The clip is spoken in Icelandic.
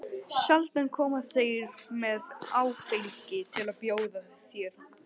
Sjaldan koma þeir með áfengi til að bjóða þér.